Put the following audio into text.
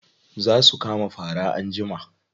Za su kama fara anjima.